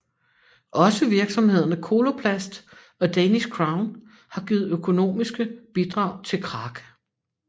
Også virksomhederne Coloplast og Danish Crown har givet økonomiske bidrag til Kraka